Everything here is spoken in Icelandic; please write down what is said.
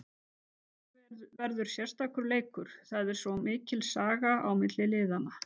Þetta verður sérstakur leikur, það er svo mikil saga á milli liðanna.